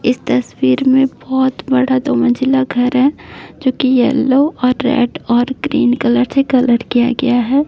इस तस्वीर में बहुत बड़ा दो मंजिला घर है जोकि येल्लो रेड और ग्रीन कलर से कलर किया है।